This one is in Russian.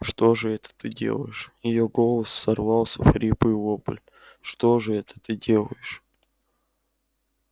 что же это ты делаешь её голос сорвался в хриплый вопль что же это ты делаешь